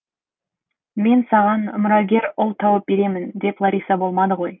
мен саған мұрагер ұл тауып беремін деп лариса болмады ғой